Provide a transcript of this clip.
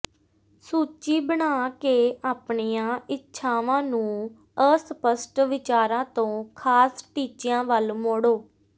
ਸੂਚੀ ਬਣਾ ਕੇ ਆਪਣੀਆਂ ਇੱਛਾਵਾਂ ਨੂੰ ਅਸਪਸ਼ਟ ਵਿਚਾਰਾਂ ਤੋਂ ਖ਼ਾਸ ਟੀਚਿਆਂ ਵੱਲ ਮੋੜੋ